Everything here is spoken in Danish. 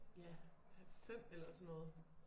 Ja 5 eller sådan noget